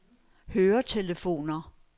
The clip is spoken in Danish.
høretelefoner